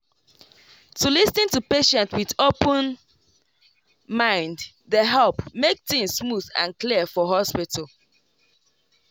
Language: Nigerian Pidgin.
to lis ten to patient with open mind dey help make things smooth and clear for hospital.